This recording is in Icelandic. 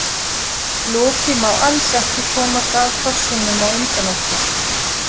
Loki má alls ekki komast að fossinum á undan okkur